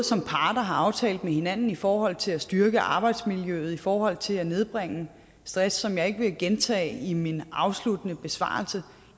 som parter har aftalt med hinanden både i forhold til at styrke arbejdsmiljøet og i forhold til at nedbringe stress som jeg ikke vil gentage i min afsluttende besvarelse